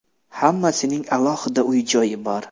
Hammasining alohida uy-joyi bor.